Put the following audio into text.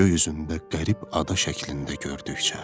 göy üzündə qərib ada şəklində gördükcə.